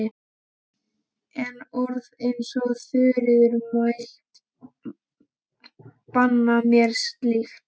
En orð eins og Þuríður mælti banna mér slíkt.